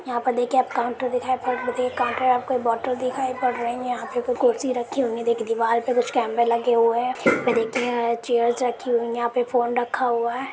यहा पे देखिये आप काउंटर दिखाई पड़ काउंटर आपको बोतल आपको दिखाई पड़ रही है यहा पे कुर्सी रखी हुई है एक दीवाल पर कुछ कैमरा लगे हुए है ये देखिये चेयर्स रखें हुई है यहाँ पर फ़ोन रखा हुआ है।